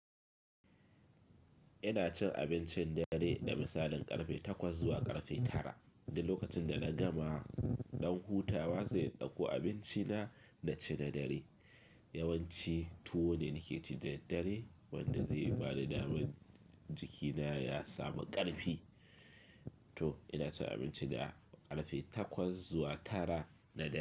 Ina cin abincin dare da misalin ƙarfe takwas zuwa ƙarfe tara. Da lokacin da na gama, ɗan hutawa zai ɗauko abinci na da ce da dare. Yawanci tuwo ne nake ci da dare wanda zai ba da daman jikina ya samu ƙarfi. To ina cin abinci na ƙarfe takwas zuwa tara da dare.